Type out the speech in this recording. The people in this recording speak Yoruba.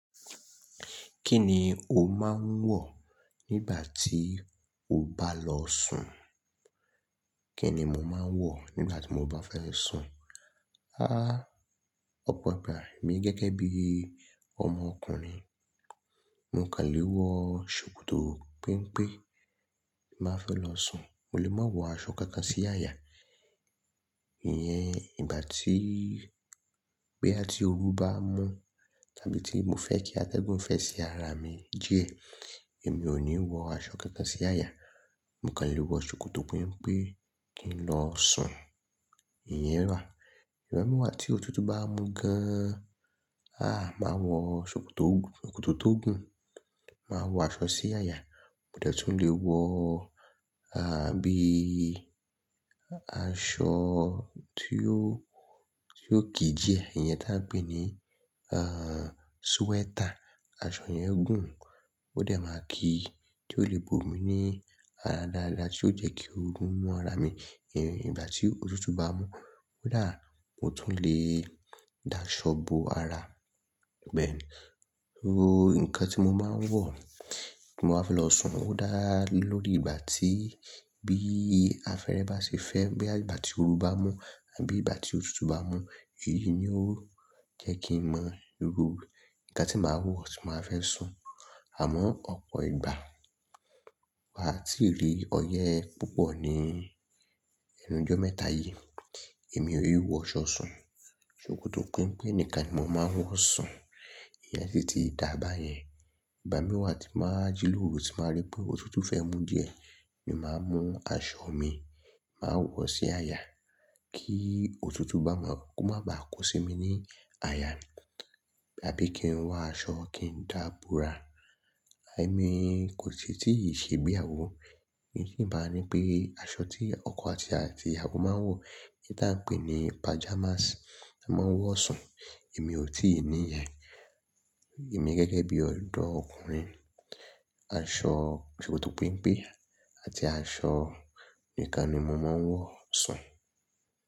Kí ni o máa ń wọ̀ nígbà tí o bá lọ sùn? Kí ni mo máa ń wọ̀ nígbà tí mo bá fẹ́ sùn? Há! Ọ̀pọ̀ ìgbà èmi gẹ́gẹ́ bí ọmọ ọkùnrin, mo kàn lè wọ ṣòkòtò pémpén, tí mo bá fẹ́ lọ sùn. Mo lè máa wọ aṣọ kankan sí àyà. Iyẹn ìgbà tí, bóyá tì oru bá mú tàbí tí mo fẹ́ kí atẹ́gùn fẹ́ sí ara mi díẹ̀, èmi ò ní wọ aṣọ kànkan sí àyà. Mo kàn lè wọ ṣòkòtò pénpén pé kí n lọ sùn. Iyẹn rà. Ìgbàmi wá tí òtútù bá mú gan an, háà, màá wọ ṣòkòtò tó gùn, ṣòkòtò tó gùn, màá wọ aṣọ sí àyà. O dè tún le wọ, àbí aṣọ tí ó, tí ó kí díẹ̀. Ìyẹn tí a ń pè ní, ehn, sweater. Aṣọ yẹn gùn, ó dẹ máa kíi tí ó lè bo mi ní ara dáadáa tí yóò jẹ́ kí oru mú ara mi. Ìgbàtí òtútù bá mú kódà, o tún lè da aṣọ bo ara pèlú. Ó, nǹkan tí mo máa ń wọ̀ tí mo bá fẹ́ lọ sùn ó dá lé lórí ìgbà tí bí afẹ́rẹ́ bá ṣe fẹ́, bóyá àgbà tí oru bá mú àbí ìgbà tí òtútù bá mú. Èyí ni ó jẹ́ kí n mọ irú nǹkan tí màá wọ̀ tí mo bá fẹ́ sùn. Àmọ́ ọ̀pọ̀ ìgbà, bí mi ò bá tí rí ọyẹ́ púpọ̀ ní ẹnu ojọ́ mẹ́ta yìí, èmi ò wọ aṣọ sùn. Ṣòkòtò pénpén nìkan ni mò máa ń wọ̀ sùn. Iyẹn ti ti dába yẹn. Ìgbámí wá tí mo bá jí lóru tí mo bá rí pé òtútù fẹ́ mú díẹ̀, mo máa mú aṣọ mi, màá wọ̀ sí àyà kí òtútù bá máa, kó máa bàá kó sí mi ní àyà àbí kí n wá aṣọ kí n dá bora. Èmi, kò ṣì tí ì ṣe ìgbéyàwó. Ìbápé aṣọ tí ọkọ àti àti ìyàwó máa ń wọ, tí à ń pè ní pajamas, ni a máa ń wọ̀ sùn. Èmi ò tíì ní ìyẹn. Èmi gẹ́gẹ́ bí ọ̀dọ́ ọkùnrin, aṣọ ṣòkòtò pémpé àti aṣọ nìkan ni mo máa ń wọ̀ sùn.